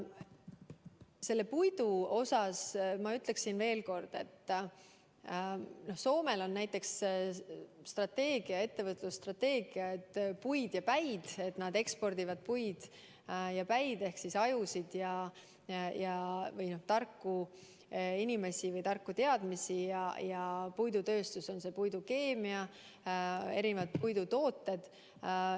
Selle puidu kohta ma ütleksin, et Soomel on näiteks ettevõtlusstrateegia, et nad ekspordivad puid ja päid ehk ajusid või tarku inimesi või teadmisi ning puidutööstuse ja puidukeemia erinevaid tooteid.